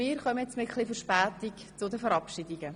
Mit etwas Verspätung kommen wir jetzt zu den Verabschiedungen.